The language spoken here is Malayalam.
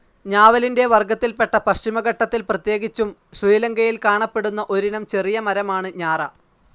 ഞാവലിന്റെ വർഗ്ഗത്തിൽപ്പെട്ട പശ്ചിമഘട്ടത്തിൽ, പ്രത്യേകിച്ചും ശ്രീലങ്കയിൽ കാണപ്പെടുന്ന ഒരിനം ചെറിയ മരമാണ് ഞാറ.